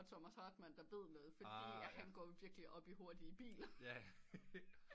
Og Thomas Hartmann der ved noget fordi han går jo virkelig op i hurtige biler